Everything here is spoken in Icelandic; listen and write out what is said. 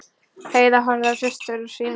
Heiða horfði á systur sína.